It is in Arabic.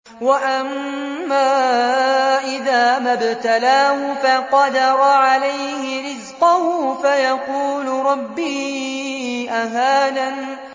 وَأَمَّا إِذَا مَا ابْتَلَاهُ فَقَدَرَ عَلَيْهِ رِزْقَهُ فَيَقُولُ رَبِّي أَهَانَنِ